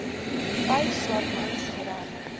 vyf swartmans gery